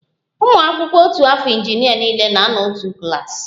ụmụ akwụkwọ otu afọ injinịa niile na-anọ n'otu klas